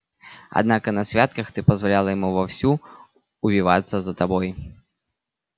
однако на святках ты позволяла ему вовсю увиваться за тобой